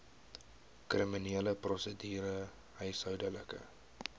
kriminele prosedure huishoudelike